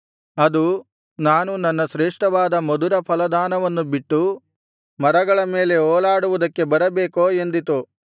ಅದು ನಾನು ನನ್ನ ಶ್ರೇಷ್ಠವಾದ ಮಧುರಫಲದಾನವನ್ನು ಬಿಟ್ಟು ಮರಗಳ ಮೇಲೆ ಓಲಾಡುವುದಕ್ಕೆ ಬರಬೇಕೋ ಎಂದಿತು